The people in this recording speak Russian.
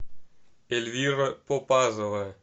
эльвира попазова